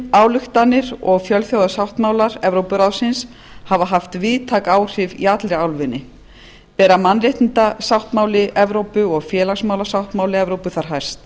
ályktanir og fjölþjóðasáttmálar evrópuráðsins hafa haft víðtæk áhrif í allri álfunni bera mannréttindasáttmáli evrópu og félagsmálasáttmála evrópu þar hæst